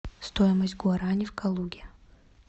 стоимость гуарани в калуге